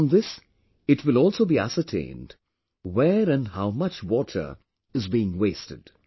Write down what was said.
From this it will also be ascertained where and how much water is being wasted